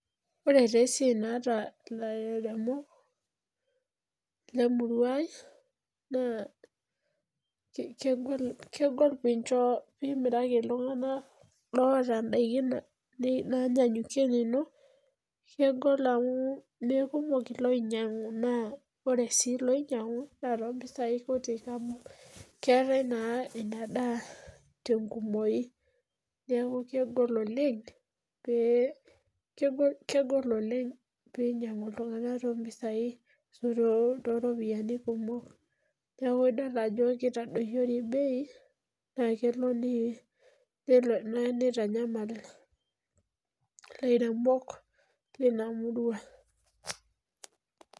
Ore taa esiai naata lairemopk lemurua ai naa kegol pee imaraki iltunganak loota ndaikin naanyanyukie inino ,kegol amu meekumok loinyangu naaa ore sii loinyangu naa mpisai kutik amu keetae naa ina daa tenkumoki neeku kegol oleng pee einyangu iltunganak tooropiyiani kumok, neeku kelo neitadoyiori beei neeku keitanyamal ilairemok lina murua.